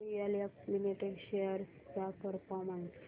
DLF limited shares चा performance